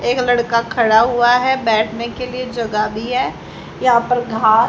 एक लड़का खड़ा हुआ है बैठने के लिए जगह भी है यहां पर घा--